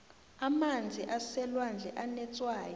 amanzi aselwandle anetswayi